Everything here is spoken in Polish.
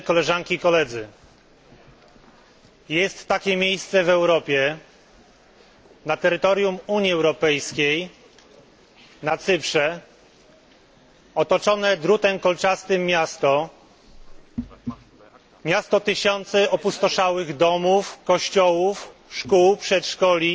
Jest takie miejsce w Europie na terytorium Unii Europejskiej, na Cyprze otoczone drutem kolczastym miasto tysięcy opustoszałych domów, kościołów, szkół, przedszkoli,